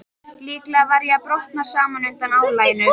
Líklega var ég að brotna saman undan álaginu.